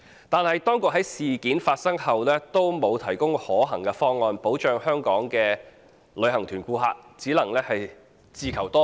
可是，當局在事件發生後，卻沒有提供可行方案，保障香港的旅行團顧客，令他們只能自求多福。